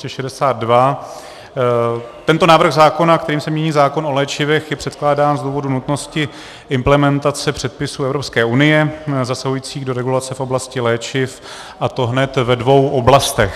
Tento návrh zákona, kterým se mění zákon o léčivech, je předkládán z důvodu nutnosti implementace předpisů Evropské unie zasahujících do regulace v oblasti léčiv, a to hned ve dvou oblastech.